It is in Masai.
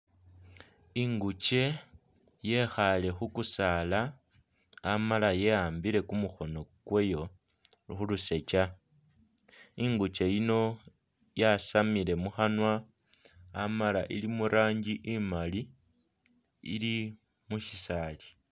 Inguche yekhale khukusaala Amala ye'ambile kumukhono kweyo khulusocha, inguche yiino yasamile mukhanywa Amala ili muranji immali ili musisali